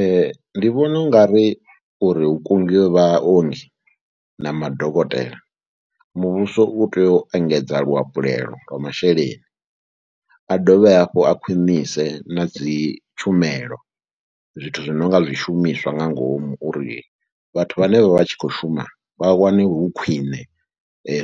Ee, ndi vhona u nga ri uri hu kungiwe vhaongi na madokotela, muvhuso u tea u engedza luhafhulelo lwa masheleni, a dovhe hafhu a khwinise na dzi tshumelo zwithu zwi no nga zwishumiswa nga ngomu uri vhathu vhane vha vha tshi khou shuma vha wane hu khwine,